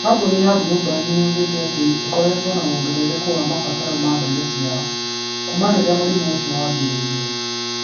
Kambuni ya Bluebird nĩ yugĩtĩ atĩ nĩ ĩkoretwo na wongerereku wa mabataro ma ndege ciayo. Kuuma rĩrĩa mũrimũ ũcio wambĩrĩirie.